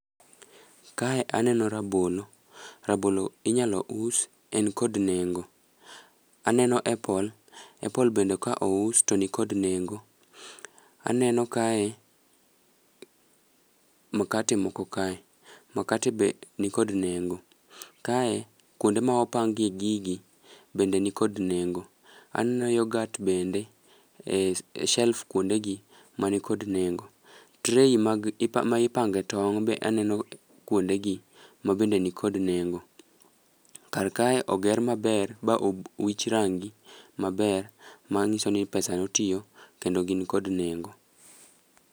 Kae aneno rabolo, rabolo inyalo us en kod nengo. Aneno epol, epol bende ka ous to nikod nengo. Aneno kae, mkate moko kae, makate be nikod nengo. Kae kuonde ma opange gigi, bende ni kod nengo. Aneno yogat bende e shelf kuonde gi, manikod nengo. Tray mag ma ipange tong' be aneno kuonde gi manikod nengo. Kar kae oger maber ba obu wich rangi maber, mang'iso ni pesa notiyo kendo gin kod nengo.